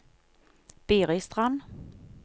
Biristrand